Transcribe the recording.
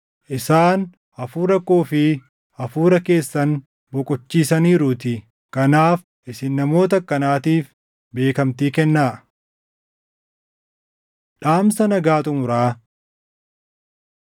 Isaan hafuura koo fi hafuura keessan boqochiisaniiruutii. Kanaaf isin namoota akkanaatiif beekamtii kennaa. Dhaamsa Nagaa Xumuraa